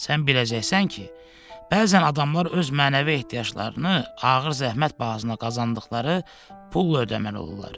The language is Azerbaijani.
Sən biləcəksən ki, bəzən adamlar öz mənəvi ehtiyaclarını ağır zəhmət bahasına qazandıqları pulla ödəməli olurlar.